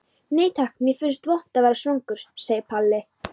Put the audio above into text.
Nei takk, mér finnst vont að vera svangur, segir Palli.